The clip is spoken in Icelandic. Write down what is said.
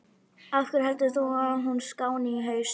Af hverju heldur þú að hún skáni í haust?